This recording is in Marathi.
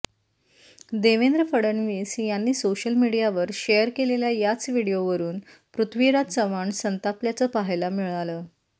देवेंद्र फडणवीस यांनी सोशल मीडियावर शेअर केलेल्या याच व्हिडिओवरून पृथ्वीराज चव्हाण संतापल्याचं पाहायला मिळालं